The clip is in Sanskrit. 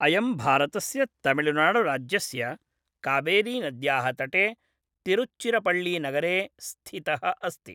अयं भारतस्य तमिळ्नाडुराज्यस्य कावेरीनद्याः तटे तिरुच्चिरपळ्ळीनगरे स्थितः अस्ति।